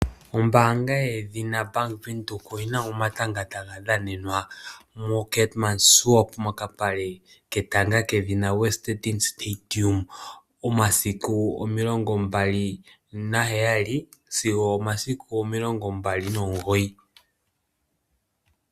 Ombaanga yaVenduka oyina omatanga taga dhanenwa moKeetmanshoop, mokapale ketanga kedhina Westdene Stadium. Momasiku omilongo mbali na heyali, sigo omasiku omilongo mbali nomugoyi.